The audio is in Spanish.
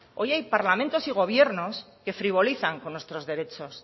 hoy hay parlamentos y gobierno que frivolizan con nuestros derechos